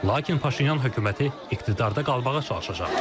Lakin Paşinyan hökuməti iqtidarda qalmağa çalışacaq.